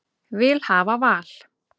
Vil hafa val